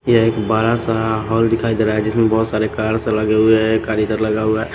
ये एक बड़ा सा हॉल दिखाई दे रहा है जिसमें बहुत सारे कार्स लगे हुए हैं एक कार इधर लगा हुआ है।